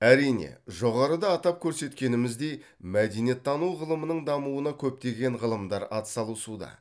әрине жоғарыда атап көрсеткеніміздей мәдениеттану ғылымының дамуына көптеген ғылымдар ат салысуда